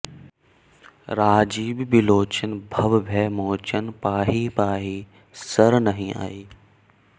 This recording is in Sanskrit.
राजीव बिलोचन भव भय मोचन पाहि पाहि सरनहिं आई